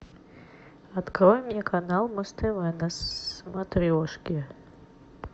открой мне канал муз тв на смотрешке